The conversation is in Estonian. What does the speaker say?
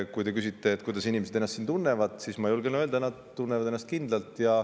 Kui te küsite, kuidas inimesed ennast siin tunnevad, siis ma julgen öelda, et nad tunnevad ennast kindlalt.